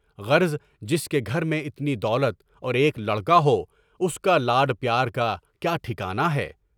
غرض جس کے گھر میں اتنی دولت اور ایک لڑکا ہو، اس کا لاڈ پیار کا کیا ٹھکانا ہے؟